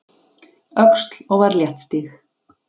Öxl og var léttstíg.